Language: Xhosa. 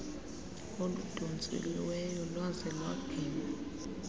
oludontsiweyo lwaze lwaginywa